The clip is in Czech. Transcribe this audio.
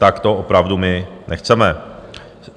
Tak to opravdu my nechceme.